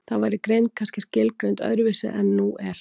þá væri greind kannski skilgreind öðru vísi en nú er